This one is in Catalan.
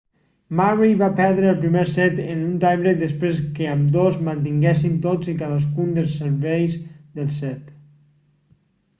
murray va perdre el primer set en un tie break després que ambdós mantinguessin tots i cadascun dels serveis del set